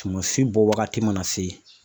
Sumasi bɔ wagati mana se